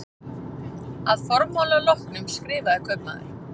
Að formála loknum skrifaði kaupmaður